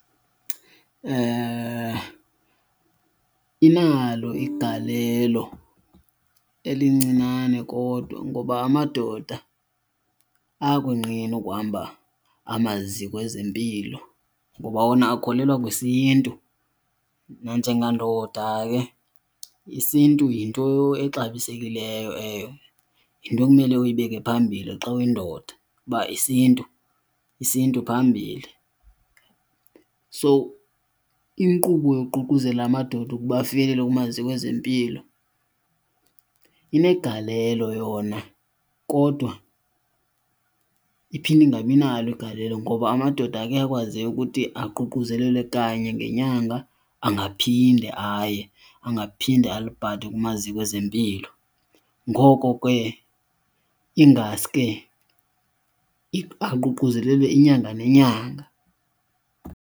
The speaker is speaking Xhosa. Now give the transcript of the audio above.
Inalo igalelo elincinane kodwa ngoba amadoda ayakonqena ukuhamba amaziko ezempilo ngoba wona akholelwa kwesiNtu. Nanjengandoda ke isiNtu yinto exabisekileyo, yinto ekumele uyibeke phambili xa uyindoda uba isiNtu phambili. So inkqubo yokuququzelela amadoda ukuba afikelele kumaziko ezempilo inegalelo yona kodwa iphinde ingabi nalo igalelo, ngoba amadoda kuyakwazeka ukuthi aququzelele kanye ngenyanga angaphinde aye, angaphinde aliphathe kumaziko ezempilo. Ngoko ke ingaske aququzelele inyanga nenyanga.